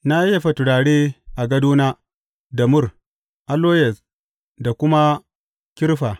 Na yayyafa turare a gadona da mur, aloyes da kuma kirfa.